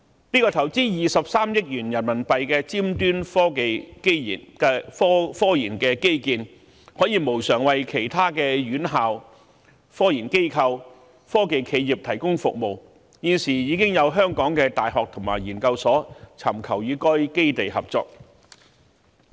這項投資23億元人民幣的尖端科研基建可以無償為其他院校、科研機構及科技企業提供服務，現時已有香港的大學及研究所尋求與該基地合作。